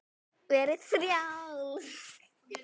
Verði frjáls.